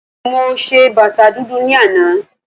Mo ṣe bàtà dúdú ní àná